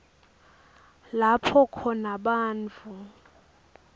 lapho khona bantfu